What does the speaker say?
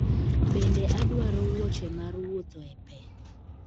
Bende adwaro wuoche mar wuotho e pe